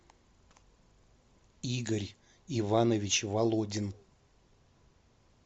игорь иванович володин